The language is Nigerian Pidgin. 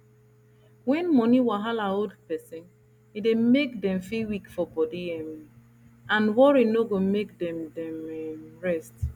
when money wahala hold person e dey make dem feel weak for body um and worry no go make dem dem um rest